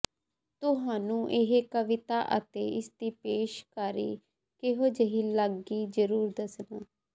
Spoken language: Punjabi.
ਤੁਹਾਨੂੰ ਇਹ ਕਵਿਤਾ ਅਤੇ ਇਸਦੀ ਪੇਸ਼ਕਾਰੀ ਕਿਹੋ ਜਿਹੀ ਲੱਗੀ ਜ਼ਰੂਰ ਦੱਸਣਾ